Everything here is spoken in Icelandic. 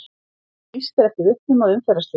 Lýst eftir vitnum að umferðarslysi